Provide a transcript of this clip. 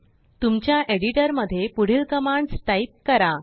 तुमच्या एडिटरमध्ये पुढीलकमांड्स टाईप करा